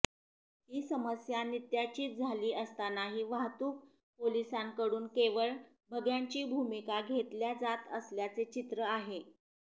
ही समस्या नित्याचीच झाली असतानाही वाहतूक पोलिसांकडून केवळ बघ्यांची भूमिका घेतल्या जात असल्याचे चित्र आहे